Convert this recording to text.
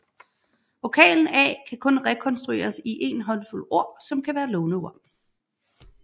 Vokalen a kan kun rekonstrueres i en håndfuld ord som kan være låneord